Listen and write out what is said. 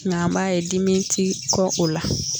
Nka an b'a ye dimi ti kɛ o la